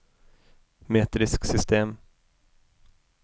metrisk system